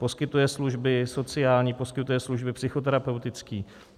Poskytuje služby sociální, poskytuje služby psychoterapeutické.